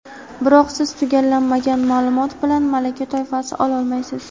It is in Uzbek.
Biroq siz tugallanmagan maʼlumot bilan malaka toifasi ololmaysiz.